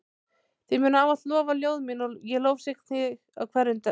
Þig munu ávallt lofa ljóð mín ég lofsyng þig í hverjum brag.